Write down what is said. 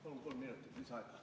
Palun kolm minutit lisaaega!